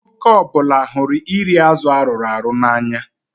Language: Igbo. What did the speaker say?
Nwoke ọ bụla hụrụ iri azụ arụrụ arụ n'anya.